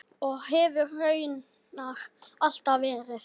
Og hefur raunar alltaf verið.